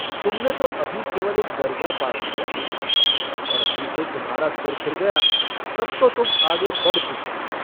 तुमने तो अभी केवल एक दरजा पास किया है और अभी से तुम्हारा सिर फिर गया तब तो तुम आगे बढ़ चुके।